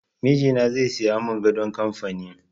Mijina zai siya mun gadon kamfani